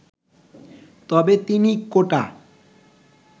তবে তিনি কোটা